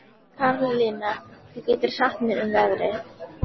Karlinna, hvað geturðu sagt mér um veðrið?